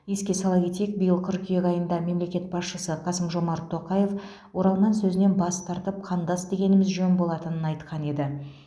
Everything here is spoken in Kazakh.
еске сала кетейік биыл қыркүйек айында мемлекет басшысы қасым жомарт тоқаев оралман сөзінен бас тартып қандас дегеніміз жөн болатынын айтқан еді